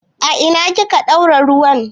A ina kika ɗaura ruwan?